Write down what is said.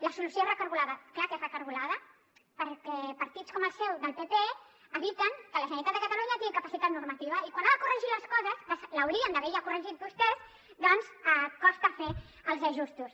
la solució és recargolada clar que és recargolada perquè partits com el seu del pp eviten que la generalitat de catalunya tingui capacitat normativa i quan ha de corregir les coses que les haurien ja d’haver ja corregit vostès doncs costa fer els ajustos